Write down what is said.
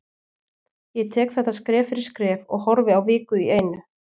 Ég tek þetta skref fyrir skref og horfi á viku einu.